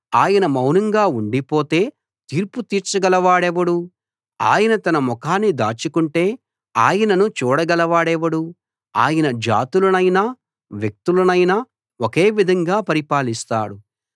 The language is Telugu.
ఆయన మౌనంగా ఉండిపోతే తీర్పు తీర్చగలవాడెవడు ఆయన తన ముఖాన్ని దాచుకుంటే ఆయనను చూడగలవాడెవడు ఆయన జాతులనైనా వ్యక్తులనైనా ఒకే విధంగా పరిపాలిస్తాడు